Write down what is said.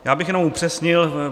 Já bych jenom upřesnil.